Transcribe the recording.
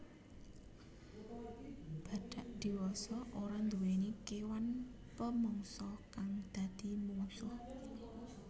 Badhak diwasa ora nduwèni kéwan pamangsa kang dadi mungsuh